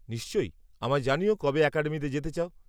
নিশ্চয়ই, আমায় জানিও কবে অ্যাকাডেমিতে যেতে চাও।